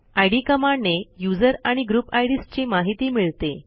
इद कमांडने यूझर आणि group IDs ची माहिती मिळते